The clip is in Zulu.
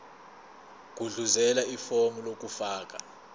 gudluzela ifomu lokufaka